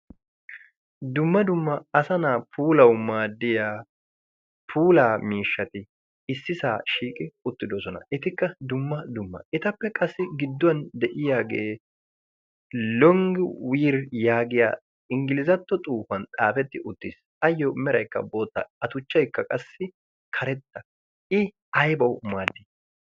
Dumma dumma asa na'aa pulawu maaddiya pula miishshati issisaa shiiqi uttidosona. Etikka dumma dumma' etappe qassi gidduwan de'iyaagee 'longiwir' yaagiya inggilizatto xuufuwan xaafetti uttiis. Ayyo meraykka bootta a tuchchaykka qassi karetta i aybawu maaddii?